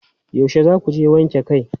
Yanzu za ku je wanke kai?